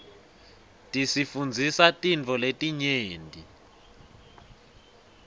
tisifundzisa tintfo letinyenti